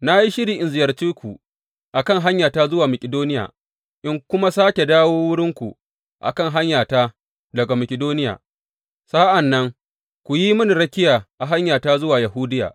Na yi shiri in ziyarce ku a kan hanyata zuwa Makidoniya, in kuma sāke dawo wurinku a kan hanyata daga Makidoniya, sa’an nan ku yi mini rakiya a hanyata zuwa Yahudiya.